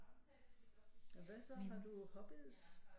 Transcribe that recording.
Og hvad så har du hobbies